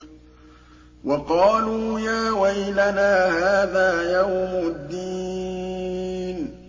وَقَالُوا يَا وَيْلَنَا هَٰذَا يَوْمُ الدِّينِ